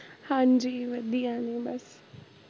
ਹਾਂਜੀ ਵਧੀਆ ਨੇ ਬੱਸ